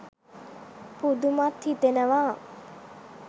පුදුමත් හිතෙනවා.